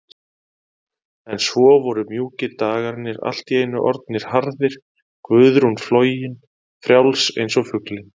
En svo voru mjúkir dagarnir allt í einu orðnir harðir, Guðrún flogin, frjáls einsog fuglinn.